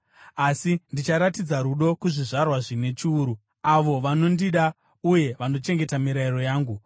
asi ndicharatidza rudo kuzvizvarwa zvine chiuru, avo vanondida uye vanochengeta mirayiro yangu.